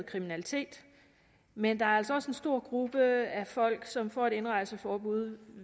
kriminalitet men der er altså også en stor gruppe af folk som får et indrejseforbud